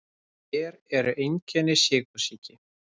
Hver eru einkenni sykursýki?